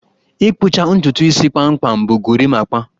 Ị kpụcha ntutu isi kpamkpam bụ gorimapa